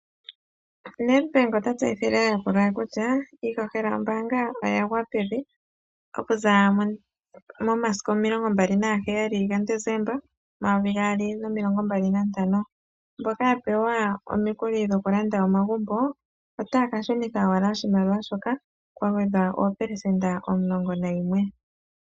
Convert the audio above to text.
Nedbank ota tseyithile aayakulwa ye kutya iihohela yombaanga oyagwa pevi , okuza momasiku omilongombali naga heyali ga Desemba omumvo omayovi gaali nomilongo mbali nantano . Mboka yapewa omikuli dhokulanda omagumbo otayaka shunitha oshimaliwa shoka kwagwedhwa oopelesenda omulongo nayimwe.